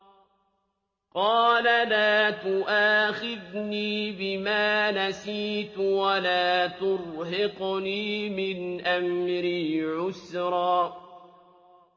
قَالَ لَا تُؤَاخِذْنِي بِمَا نَسِيتُ وَلَا تُرْهِقْنِي مِنْ أَمْرِي عُسْرًا